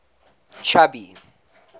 chubby